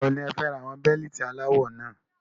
Ìgbà wo ni ẹ fẹ ra àwọn Bẹ́líìtì aláwọ náà?